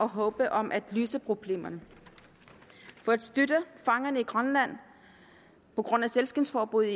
håb om at løse problemerne for at støtte fangerne i grønland på grund af sælskindsforbuddet